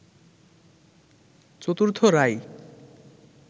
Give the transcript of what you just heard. চতুর্থ রায়